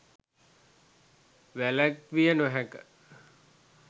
වැළැක්විය නොහැක.